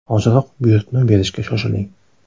Hoziroq buyurtma berishga shoshiling!.